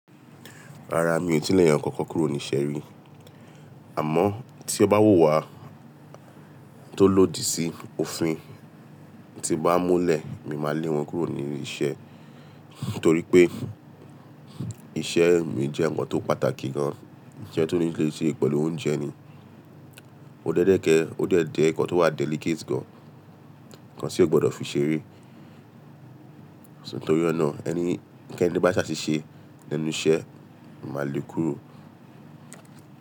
Rárá mi ò tíì lé ẹ̀eyàn kankan kúrò ní iṣẹ́ rí. Àmọ́ tí ó bá wùwà tó lòdì sí òfin tí n bá múlẹ̀, mi máa lé wọn kúrò ní ilé iṣẹ́. Nítorí pé iṣẹ́ mi jẹ́ ǹnkan tó pàtàkì gan, iṣẹ́ tó ní lè ṣẹ pẹ̀lú oúnjẹ ni. Ó dẹ́dẹ́kẹ, ó dẹ́dẹ́ ǹnkan tó wà delicate gan, ǹnkan tí o gbọdọ̀ fi ṣeré. Nítorí ọ̀nà ẹnikeni bá ṣe aṣiṣẹ́ lenu iṣẹ́ máa lé kúrò.